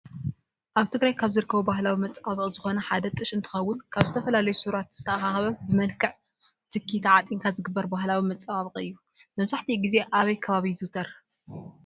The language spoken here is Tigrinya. አብ ትግራይ ካብ ዝርከቡ ባሀላዊ መፀባበቂ ዝኮነ ሓደ ጥሽ እንትኮውን ካብዝተፈላለዩ ሱራት ዝትአካከበ ብመልክዕ ትኪ ታዓጢንካ ዝግበር ባህላዊ መፀባበቂ እዩ። መብዛሕቲአዙ ግዜ አብይ ከባቢ ይዝውተር?